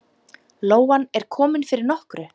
Lóan er komin fyrir nokkru.